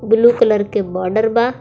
Blue colour के border बा.